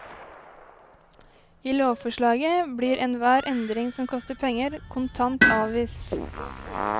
I lovforslaget blir enhver endring som koster penger, kontant avvist.